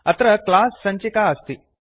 अत्र क्लास् सञ्चिका अस्ति